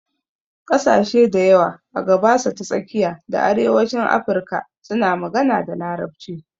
Ƙasashe dayawa a gabasa ta tsakiya da arewacin Afirka suna magana da Larabci.